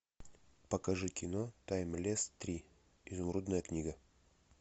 покажи кино таймлесс три изумрудная книга